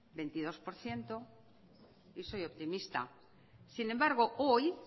veintidós por ciento y soy optimista sin embargo hoy